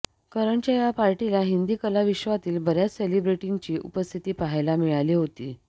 करणच्या या पार्टीला हिंदी कलाविश्वातील बऱ्याच सेलिब्रिटींची उपस्थिती पाहायला मिळाली होती